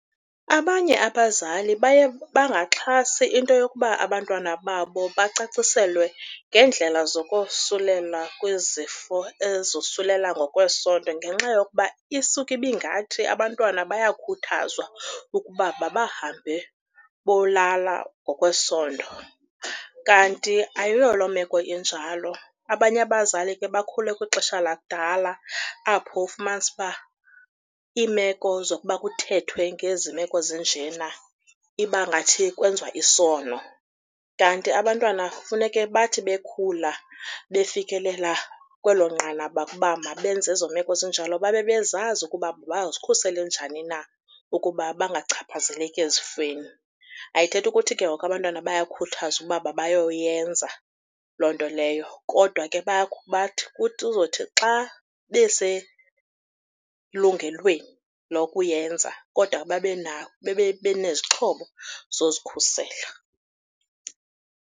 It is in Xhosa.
Abanye abazali baye bangaxhasi into yokuba abantwana babo bacaciselwe ngeendlela zokosulela kwezifo ezosulela ngokwesondo ngenxa yokuba isuka ibingathi abantwana bayakhuthazwa ukuba mabahambe bolala ngokwesondo, kanti ayiyo lo meko injalo. Abanye abazali ke bakhule kwixesha lakudala apho ufumanise uba iimeko zokuba kuthethwe ngezi meko zinjena iba ngathi kwenziwa isono. Kanti abantwana funeke bathi bekhula befikelela kwelo nqanaba uba mabenze ezo meko zinjalo babe bezazi ukuba bazikhusele njani na ukuba bangachaphazeleki ezifeni. Ayithethi ukuthi ke ngoku abantwana bayayikhuthazwa ukuba mabayoyenza loo nto leyo, kodwa ke kuzothi xa beselungelweni lokuyenza kodwa babe benezixhobo zozikhusela.